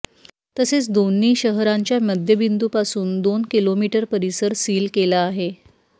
तसेच दोन्ही शहरांच्या मध्यबिंदूपासून दोन किलोमीटर परिसर सील केला आहे